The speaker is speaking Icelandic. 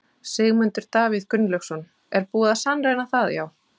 Sigmundur Davíð Gunnlaugsson: Er búið að sannreyna það já?